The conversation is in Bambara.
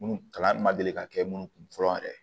Munnu kalan ma deli ka kɛ munnu kun fɔlɔ yɛrɛ